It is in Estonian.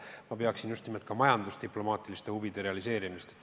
Ja ma pean silmas ka majandusdiplomaatiliste huvide realiseerimist.